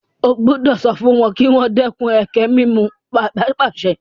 O gbúdọ̀ sọ fún wọn kí wọ́n dẹ́kun ẹkẹ-mímù! Bàbá pàṣẹ.